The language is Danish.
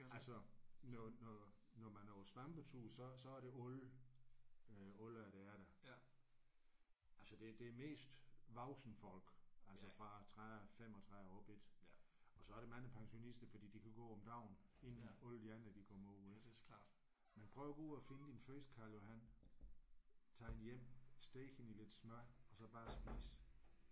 Altså når når når man er på svampetur så så er det alle øh alle aldre der er der. Altså det det er mest voksne folk altså fra 30 35 og op ik? Og så er der mange pensionister fordi de kan gå om dagen inden alle de andre de kommer ud ik? Men prøv at gå ud og finde din første karljohan tag den hjem steg den i lidt smør og så bare spis